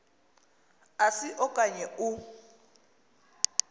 asi okanye u